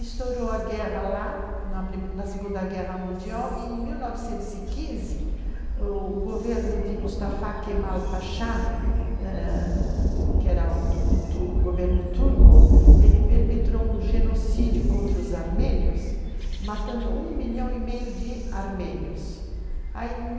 Estourou a guerra lá, na pri, na Segunda Guerra Mundial, e em 1915, o governo de Mustafa Kemal Pasha, que era o governo turco, ele perpetrou um genocídio contra os armênios, matando um milhão e meio de armênios. Aí,